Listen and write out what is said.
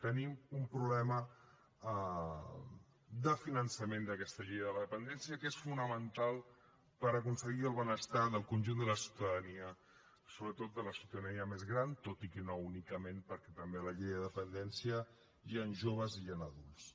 tenim un problema de finançament d’aquesta llei de la dependència que és fonamental per aconseguir el benestar del conjunt de la ciutadania sobretot de la ciutadania més gran tot i que no únicament perquè també a la llei de dependència hi han joves i hi han adults